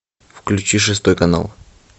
включи шестой канал